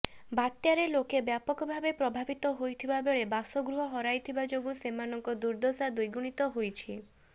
ବାତ୍ୟାରେ ଲୋକେ ବ୍ୟାପକ ଭାବେ ପ୍ରଭାବିତ ହୋଇଥିବା ବେଳେ ବାସଗୃହ ହରାଇଥିବା ଯୋଗୁଁ ସେମାନଙ୍କ ଦୁର୍ଦଶା ଦ୍ବିଗୁଣିତ ହୋଇଛି